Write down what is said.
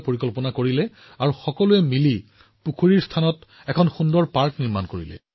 তাৰপিছত কি হল সকলোৱে পুখুৰীৰ কাষত এখন উদ্যান নিৰ্মাণ কৰিলে